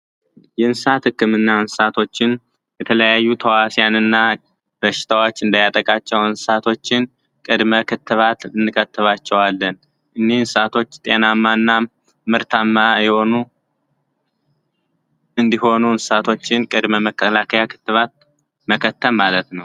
የእንስሳት ህክምና እንስሳቶችን የተለያዩ ተህዋሲያንን ህክምና በሽታዎች እንዳያጠቋቸው እንስሳቶችን ቅድመ ክትባት እንከትባቸዋለን። እኒ እንስሳቶች ጤናማ እና ምርታማ እንዲሆኑ እንስሳቶችን ቅድመ ህክምና መከተብ ማለት ነው።